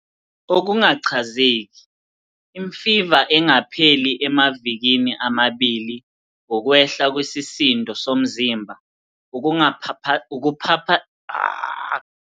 Okungachazeki- Imfiva engapheli emavikini amabili, ukwehla kwesisindo somzimba, ukuphaphatheka kwesikhumba, ukukhathala, ukusheshe ulimale noma wophe masinyane.